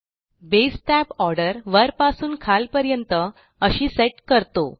base tab order वरपासून खालपर्यंत अशी सेट करतो